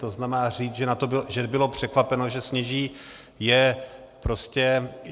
To znamená, říct, že bylo překvapeno, že sněží, je prostě...